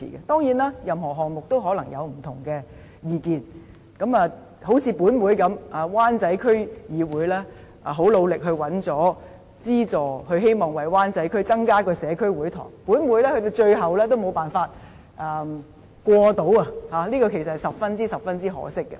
當然，任何項目也可能有不同的意見，正如在立法會，雖然灣仔區議會十分努力地尋求資助，希望為灣仔區增設社區會堂，但在上一屆立法會的最後會期也無法通過有關項目，這其實是十分可惜的。